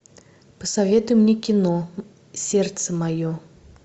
посоветуй мне кино сердце мое